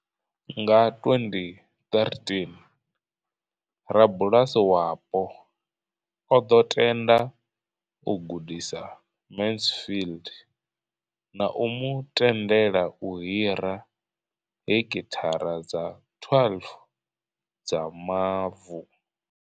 Nga 2013, rabulasi wapo o ḓo tenda u gudisa Mansfield na u mu tendela u hira heki thara dza 12 dza mavu.